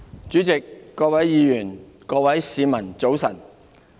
主席、各位議員、各位市民，早晨。